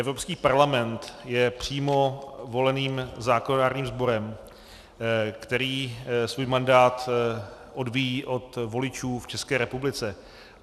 Evropský parlament je přímo voleným zákonodárným sborem, který svůj mandát odvíjí od voličů v České republice.